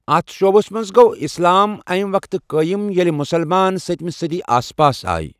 اتھ شعبس منٛز گوٚو اسلام امہِ وقتہٕ قٲئم ییلہِ مسلمان سٔتمہِ صدی آس پاس آے۔